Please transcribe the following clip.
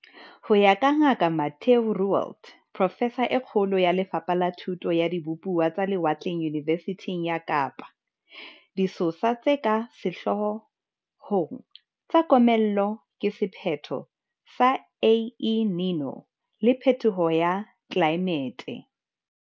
Ho ya ka Ngaka Mathieu Roualt, profesa e kgolo ya Le fapha la Thuto ya Dibupuwa tsa Lewatleng Yunivesithing ya Kapa, disosa tse ka sehloo hong tsa komello ke sephetho sa El Niño le phethoho ya tlelaemete.